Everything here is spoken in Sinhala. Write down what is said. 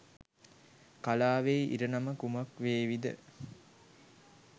කලාවේ ඉරණම කුමක් වේවිද?